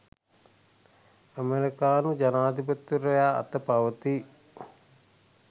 ඇමරිකානු ජනාධිපතිවරයා අත පවතී